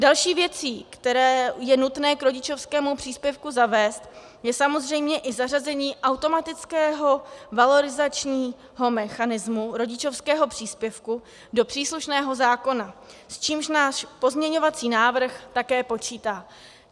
Další věcí, které je nutné k rodičovskému příspěvku zavést, je samozřejmě i zařazení automatického valorizačního mechanismu rodičovského příspěvku do příslušného zákona, s čímž náš pozměňovací návrh také počítá.